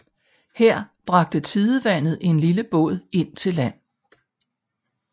Her bragte tidevandet en lille båd ind til land